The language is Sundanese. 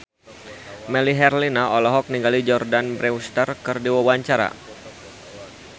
Melly Herlina olohok ningali Jordana Brewster keur diwawancara